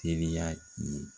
Teliya ni